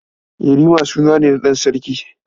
Yarima suna ne na ɗan sarki.